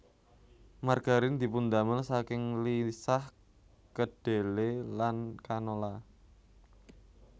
Margarin dipundamel saking lisah kedhele lan canola